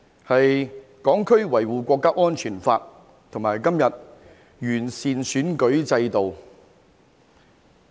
就是《香港國安法》和今天的完善選舉制度。